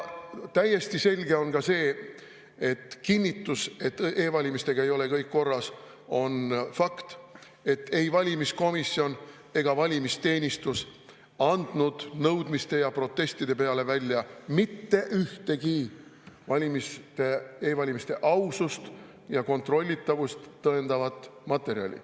Täiesti selge ja kinnitus, et e-valimistega ei ole kõik korras, on fakt, et ei valimiskomisjon ega valimisteenistus andnud nõudmiste ja protestide peale välja mitte ühtegi e-valimiste ausust ja kontrollitavust tõendavat materjali.